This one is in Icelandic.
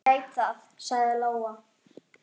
Ég veit það, sagði Lóa.